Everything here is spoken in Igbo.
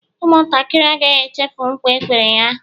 Ụmụ ntakịrị agaghị echefu nkwa e kwere ha